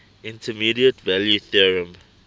intermediate value theorem